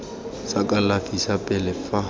sa kalafi sa pele fa